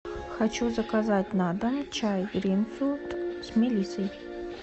хочу заказать на дом чай гринфилд с мелиссой